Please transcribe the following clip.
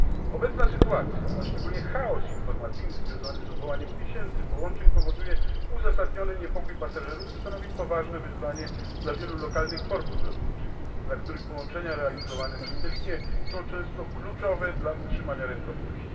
Obecna sytuacja, a szczególnie chaos informacyjny związany z odwołaniem tysięcy połączeń, powoduje uzasadniony niepokój pasażerów i stanowi poważne wyzwanie dla wielu lokalnych portów lotniczych, dla których połączenia realizowane przez tę linię są często kluczowe dla utrzymania rentowności.